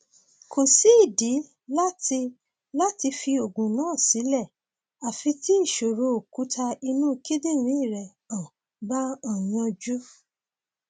kò sídìí láti láti fi oògùn náà sílẹ àfi tí ìṣòro òkúta inú kíndìnrín rẹ um bá um yanjú